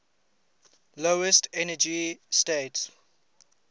lowest energy state